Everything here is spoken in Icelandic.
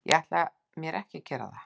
Ég ætla mér ekki að gera það.